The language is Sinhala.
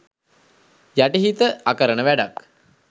යටිහිත අකරණ වැඩක්.